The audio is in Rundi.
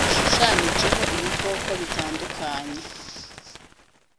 gishushanijeho ibikoko bitandukanye.